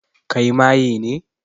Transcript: Kai maye ne?